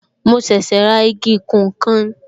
Mo ṣẹ̀ṣẹ̀ ra igi ìkùn nkan